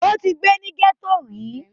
ó ti gbé ní gẹ̀tò rí